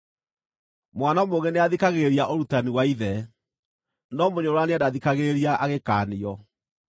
Mwana mũũgĩ nĩathikagĩrĩria ũrutani wa ithe, no mũnyũrũrania ndathikagĩrĩria agĩkaanio.